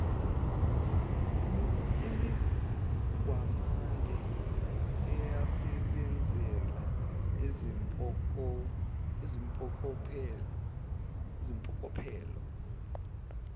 imigwamanda esebenzela izimpokophelo